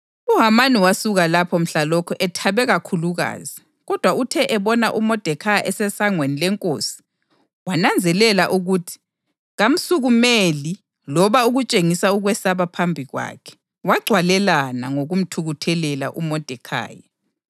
UHamani wasuka lapho mhlalokho ethabe kakhulukazi. Kodwa uthe ebona uModekhayi esesangweni lenkosi wananzelela ukuthi kamsukumeli loba ukutshengisa ukwesaba phambi kwakhe, wagcwalelana ngokumthukuthelela uModekhayi.